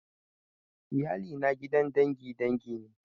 Iyali na gidan dangin dangi ne